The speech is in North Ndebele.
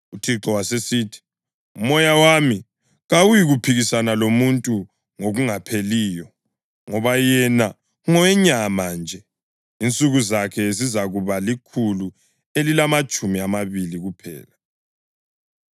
UThixo wasesithi, “UMoya wami kawuyikuphikisana lomuntu ngokungapheliyo, ngoba yena ngowenyama nje; insuku zakhe zizakuba likhulu elilamatshumi amabili kuphela.”